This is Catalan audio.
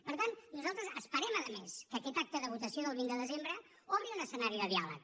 per tant nosaltres esperem a més que aquest acte de votació del vint de desembre obri un escenari de diàleg